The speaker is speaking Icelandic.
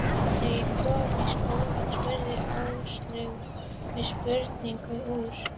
Þegar ég kom í skólann spurði Áslaug mig spjörunum úr.